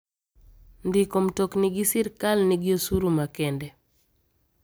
Ndiko mtokni gi sirkal nigi osuru makende.